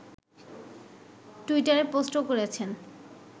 টুইটারে পোস্টও করেছেন